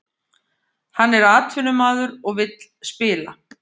Hann er atvinnumaður og vill spila